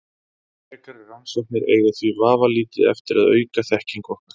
Frekari rannsóknir eiga því vafalítið eftir að auka þekkingu okkar.